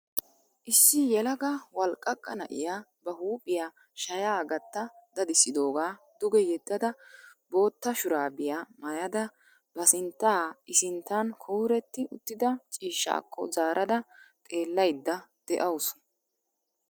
Issi yelaga walqqaqa na'iya ba huuphphiya shayaa gatta dadisidoogaa duge yedada bootta shuraabiya maayada ba sinttaa I sinttan kuuretti uttida ciishshaakko zaarada xeellaydda de'awusu.